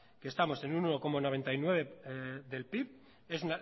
que estamos en un uno coma noventa y nueve por ciento del pib es